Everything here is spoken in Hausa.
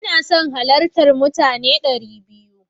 Ina son halartar mutane dari biyu.